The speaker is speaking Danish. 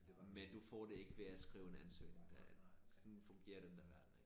Men du får det ikke ved at skrive en ansøgning derinde sådan fungerer den der verden ikke